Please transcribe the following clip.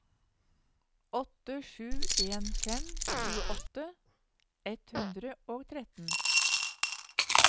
åtte sju en fem tjueåtte ett hundre og tretten